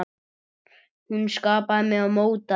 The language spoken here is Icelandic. Hún skapaði mig og mótaði.